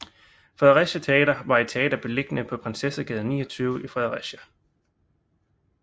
Fredericia Teater var et teater beliggende på Prinsessegade 29 i Fredericia